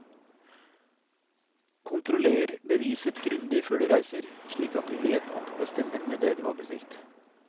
Kontroller beviset grundig før du reiser, slik at du vet at det stemmer med det du har bestilt.